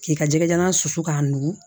K'i ka jɛgɛjalan susu k'a nugu